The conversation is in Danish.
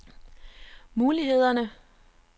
mulighederne